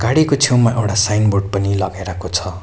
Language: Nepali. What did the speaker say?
गाडीको छेउमा एउडा साइनबोर्ड पनि लगाइराको छ।